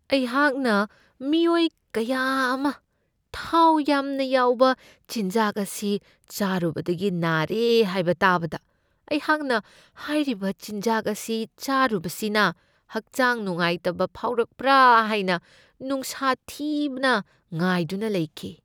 ꯑꯩꯍꯥꯛꯅ ꯃꯤꯑꯣꯏ ꯀꯌꯥ ꯑꯃ ꯊꯥꯎ ꯌꯥꯝꯅ ꯌꯥꯎꯕ ꯆꯤꯟꯖꯥꯛ ꯑꯁꯤ ꯆꯥꯔꯨꯕꯗꯒꯤ ꯅꯥꯔꯦ ꯍꯥꯏꯕ ꯇꯥꯕꯗ ꯑꯩꯍꯥꯛꯅ ꯍꯥꯏꯔꯤꯕ ꯆꯤꯟꯖꯥꯛ ꯑꯁꯤ ꯆꯥꯔꯨꯕꯁꯤꯅ ꯍꯛꯆꯥꯡ ꯅꯨꯡꯉꯥꯏꯇꯕ ꯐꯥꯎꯔꯛꯄ꯭ꯔꯥ ꯍꯥꯏꯅ ꯅꯨꯡꯁꯥ ꯊꯤꯅ ꯉꯥꯏꯗꯨꯅ ꯂꯩꯈꯤ ꯫